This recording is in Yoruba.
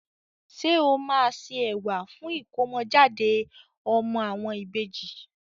Ṣé o máa se ẹ̀wà fún ìkómọ jáde ọmọ àwọn ìbejì.